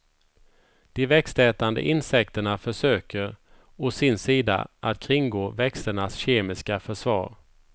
De växtätande insekterna försöker, å sin sida, att kringgå växternas kemiska försvar.